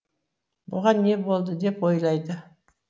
бұған не болды деп ойлайды